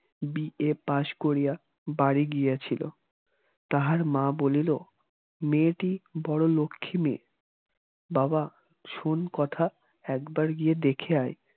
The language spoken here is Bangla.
বি. এ. পাশ করিয়া বাড়ি গিয়াছিল তাহার মা বলিল মেয়েটি বড় লক্ষ্মী মেয়ে বাবা শোন কথা একবার গিয়ে দেখে আয়